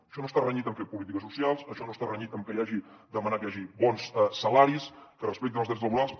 això no està renyit amb fer polítiques socials això no està renyit amb demanar que hi hagi bons salaris que es respectin els drets laborals